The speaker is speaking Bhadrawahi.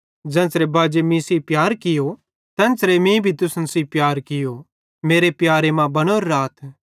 ज़ेन्च़रे बाजे मीं सेइं प्यार कियो तेन्च़रे मीं भी तुसन सेइं प्यार कियो मेरे प्यारे मां बनोरे राथ